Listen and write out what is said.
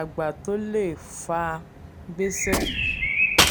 àgbà tó lè fa gbèsè?